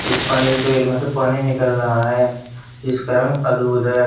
इस पानी की ट्यूबवेल मे से पानी निकल रहा है इसका रंग अद्भुत है।